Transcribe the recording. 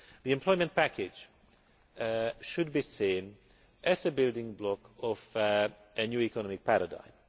The employment package should be seen as a building block of a new economic paradigm.